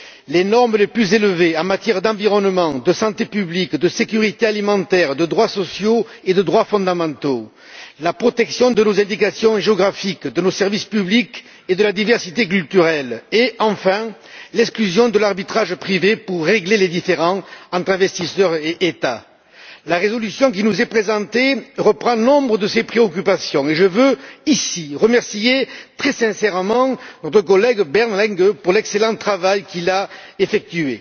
les normes les plus élevées en matière d'environnement, de santé publique, de sécurité alimentaire, de droits sociaux et de droits fondamentaux, la protection de nos indications géographiques, de nos services publics et de la diversité culturelle et, enfin, l'exclusion de l'arbitrage privé pour régler les différends entre investisseurs et États. La résolution qui nous est présentée reprend nombre de ces préoccupations et je veux, ici, remercier très sincèrement notre collègue Bernd Lange pour l'excellent travail qu'il a effectué.